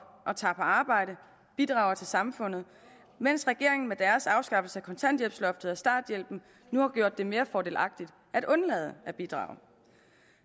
og tager på arbejde bidrager til samfundet mens regeringen med deres afskaffelse af kontanthjælpsloftet og starthjælpen nu har gjort det mere fordelagtigt at undlade at bidrage